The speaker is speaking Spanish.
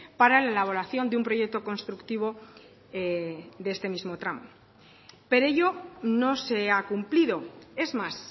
para la elaboración de un proyecto constructivo de este mismo tramo pero ello no se ha cumplido es más